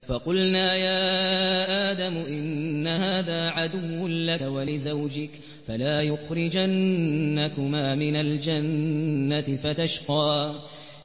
فَقُلْنَا يَا آدَمُ إِنَّ هَٰذَا عَدُوٌّ لَّكَ وَلِزَوْجِكَ فَلَا يُخْرِجَنَّكُمَا مِنَ الْجَنَّةِ فَتَشْقَىٰ